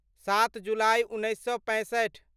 सात जुलाइ उन्नैस सए पैंसठि